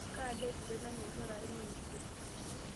kaa daa esidai nanya enchore aai naa enkitok